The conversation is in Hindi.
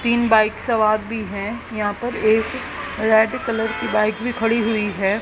तीन बाइक सवार भी हैं यहां पर एक रेड कलर की बाइक भी खड़ी हुई है।